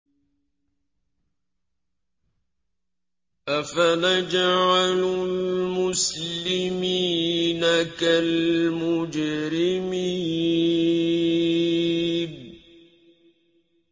أَفَنَجْعَلُ الْمُسْلِمِينَ كَالْمُجْرِمِينَ